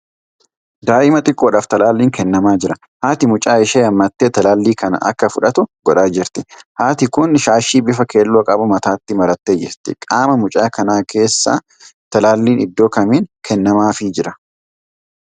Daa'ima xiqqoodhaaf talaalliin kennamaa jira. Haati mucaa ishee hammattee talaalli kana akka fudhatu godhaa jirti. Haarti kun shaashii bifa keelloo qabu mataatti marattee jirti. Qaama mucaa kanaa keessaa talaalliin iddoo kamiin kennamaafii jira?